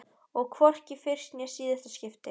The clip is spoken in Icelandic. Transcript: Og hvorki í fyrsta né síðasta skipti.